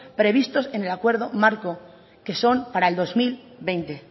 previstos en el acuerdo marco que son para el dos mil veinte